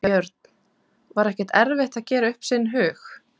Björn: Var ekkert erfitt að gera upp sinn hug?